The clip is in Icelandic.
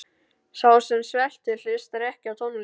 Sá sem sveltur hlustar ekki á tónlist.